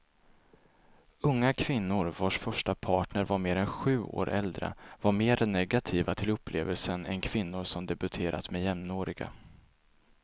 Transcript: Unga kvinnor vars första partner var mer än sju år äldre var mer negativa till upplevelsen än kvinnor som debuterat med jämnåriga.